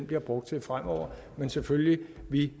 bliver brugt til fremover men selvfølgelig